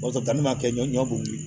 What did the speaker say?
O y'a sɔrɔ damin'a kɛ ɲɔgɔn kun ye